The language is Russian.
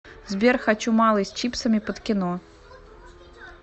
сбер хочу малый с чипсами под кино